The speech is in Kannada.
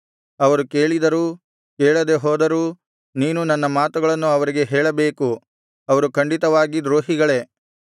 ಅವರು ಕೇಳಿದರೂ ಕೇಳದೆ ಹೋದರೂ ನೀನು ನನ್ನ ಮಾತುಗಳನ್ನು ಅವರಿಗೆ ಹೇಳಬೇಕು ಅವರು ಖಂಡಿತವಾಗಿ ದ್ರೋಹಿಗಳೇ